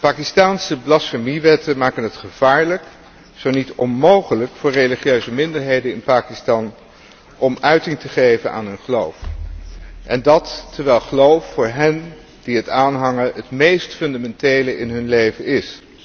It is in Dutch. De Pakistaanse blasfemiewetten maken het gevaarlijk, zo niet onmogelijk voor religieuze minderheden in Pakistan om uiting te geven aan hun geloof, en dat terwijl geloof voor hen die het aanhangen, het meest fundamentele in hun leven is.